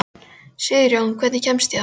Sigurjón, hvernig kemst ég þangað?